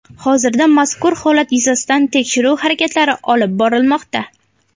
Hozirda mazkur holat yuzasidan tekshiruv harakatlari olib borilmoqda.